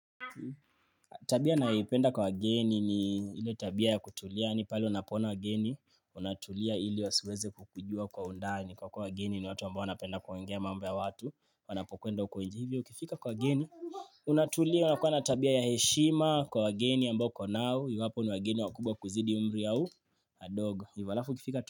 Tabia ninayoipenda kwa wageni ni ile tabia ya kutulia ni pale unapo ona wageni, unatulia ili wasiweze kukujua kwa undani kwa kuwa wageni ni watu ambao wanapenda kuongea mambo ya watu, wanapokwenda huko nje hivyo, ukifika kwa wageni, unatulia, unakuwa na tabia ya heshima kwa wageni ambao uko nao, iwapo ni wageni wakubwa kuzidi umri au, wadogo, alafu ukifika tu.